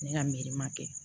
Ne ka miiri ma kɛ